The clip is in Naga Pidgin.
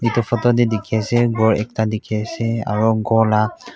etu photo te dekhi se ase gour ekta dekhi ase aru gour laga--